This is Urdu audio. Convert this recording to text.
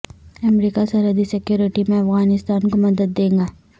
امریکہ سرحدی سیکیورٹی میں افغانستان کو مدد دے گا